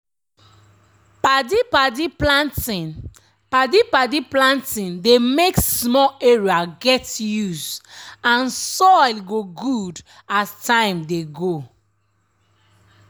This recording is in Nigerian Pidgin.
padi-padi planting padi-padi planting dey make small area get use and soil go good as time dey go.